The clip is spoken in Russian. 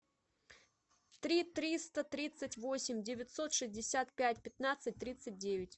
три триста тридцать восемь девятьсот шестьдесят пять пятнадцать тридцать девять